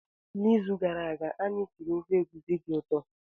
N'izu gara aga, anyị siri ofe egusi dị ụtọ.